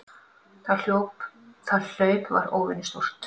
Það hlaup var óvenju stórt.